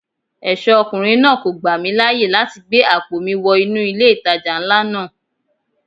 Ẹ̀ṣọ́ ọkùnrin náà kò gbà mí láyè láti gbé àpò mi wọ inú ilé ìtajà ńlá náà.